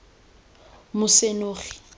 mosenogi